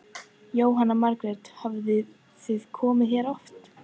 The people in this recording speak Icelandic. Jóhanna Margrét: Hafið þið komið hérna oft?